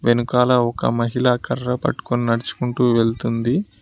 వెనకాల ఒక మహిళా కర్ర పట్టుకుని నడుచుకుంటూ వెళ్తుంది.